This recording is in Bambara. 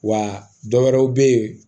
Wa dɔ wɛrɛw bɛ yen